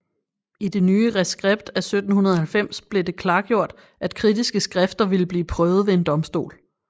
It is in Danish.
I det nye reskript af 1790 blev det klargjort at kritiske skrifter ville blive prøvet ved en domstol